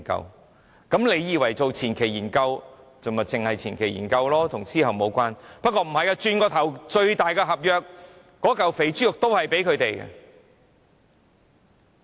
大家可能以為，做前期研究便只是前期研究，與之後的工程無關，原來不是的，轉過頭來，那份最大的合約、那塊肥豬肉也是會給它們的。